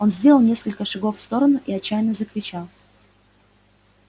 он сделал несколько шагов в сторону и отчаянно закричал